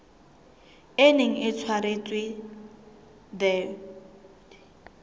e neng e tshwaretswe the